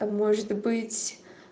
а может быть